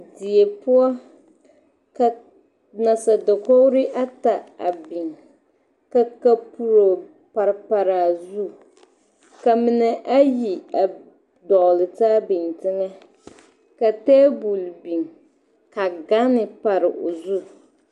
Die poɔ ka nasadakogre ata a biŋ ka ka puro pare pare a zu ka mine ayi dɔgle taa biŋ teŋɛ ka table biŋ ka ganne pare o zu.